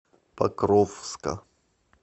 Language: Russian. покровска